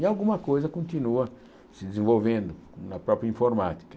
E alguma coisa continua se desenvolvendo na própria informática.